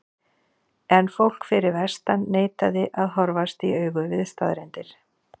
En fólk fyrir vestan neitaði að horfast í augu við staðreyndir.